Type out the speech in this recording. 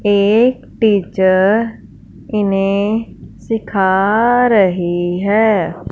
एक टीचर इन्हें सिखा रही है।